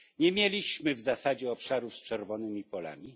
Nie mieliśmy w zasadzie obszarów z czerwonymi polami.